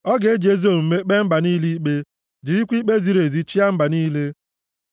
Ọ ga-eji ezi omume kpee mba niile ikpe; jirikwa ikpe ziri ezi chịa mba niile.